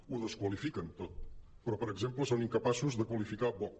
ho desqualifiquen tot però per exemple són incapaços de qualificar vox